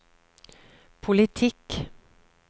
politikk